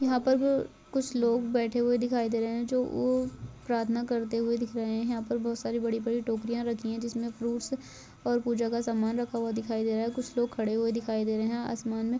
यहां पर कुछ लोग बैठे हुए दिखाई दे रहे है जो प्राथना करते हुए दिख रहे है यहां पर बहुत सारी बड़ी बड़ी टोकरियां रखी है जिसमे फ्रूट्स और पूजा का सामान रखा हुआ दिखाई दे रहा है कुछ लोग खड़े हुए दिखाई देरे है आसमान म--